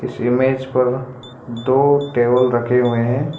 इस इमेज पर दो टेबल रखें हुए हैं।